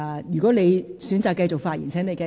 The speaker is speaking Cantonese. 如果你現在選擇繼續發言，便請繼續。